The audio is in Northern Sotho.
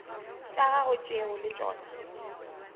tša gagwe tšeo le tšona